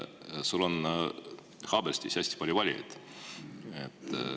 Sul on Haaberstis hästi palju valijaid.